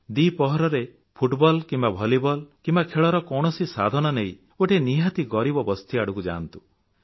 ଦ୍ୱିପ୍ରହରର football କିମ୍ବା volleyball କିମ୍ବା ଖେଳର କୌଣସି ସାଧନ ନେଇ ଗୋଟିଏ ନିହାତି ଗରିବ ବସ୍ତି ଆଡ଼କୁ ଯାଆନ୍ତୁ